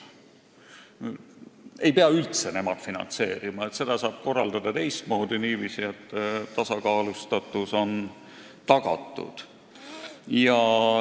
Ei pea üldse nemad finantseerima, seda saab korraldada teistmoodi – niiviisi, et tasakaalustatus on tagatud.